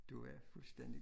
Det var fuldstændig